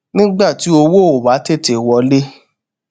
nígbà tí owó ò bá tètè wọlé